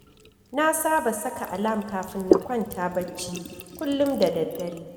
Na saba saka alam kafin na kwanta barci kullum da daddare